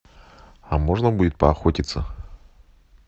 а можно будет поохотиться